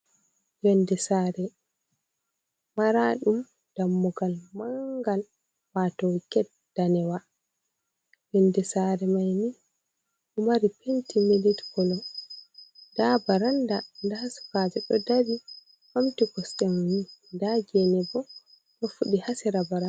Yonde saare maraɗum dammugal mangal wato get danewa yonde saare maini ɗo mari penti milit kolo, ndaa baranda ndaa sukajo ɗo dari ɓamti kosɗe mum ndaa gene bo ɗo fuɗi haa sera baranda.